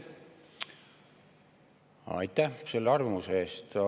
Aitäh selle arvamuse eest!